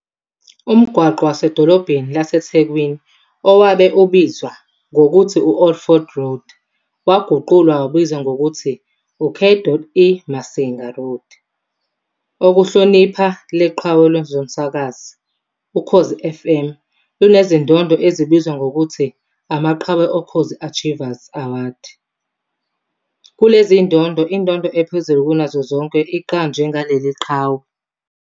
Umgwaqo wasedolobheni laseThekwini owabe ubizwa ngokuthi u-Old Fort Road waguqulwa wabizwa ngokuthi uK. E Masinga Road, ukuhlonipha leqhawe kwezomsakazo. Ukhozi FM lunezindondo ezibizwa ngokuthi Amaqhawe Okhozi Achiever Awards, kulezindondo, indondo ephezulu kunazo zonke iqanjwe ngaleli qhawe.